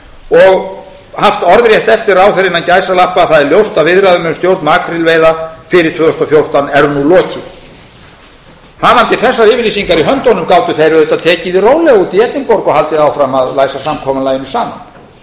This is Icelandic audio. og haft orðrétt eftir ráðherra það er ljóst að viðræðum um stjórn makrílveiða fyrir tvö þúsund og fjórtán er nú lokið hafandi þessar yfirlýsingar í höndunum gátu þeir auðvitað tekið því rólega úti í edinborg og haldið áfram að læsa samkomulaginu saman